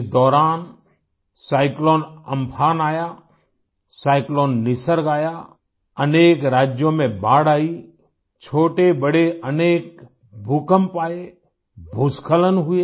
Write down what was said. इस दौरान cyclone Amphan आया साइक्लोन निसर्ग आया अनके राज्यों में बाढ़ आई छोटेबड़े अनेक भूकंप आए भूस्खलन हुए